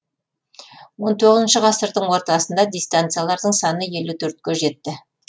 он тоғызыншы ғасырдың ортасында дистанциялардың саны елу төртке жетті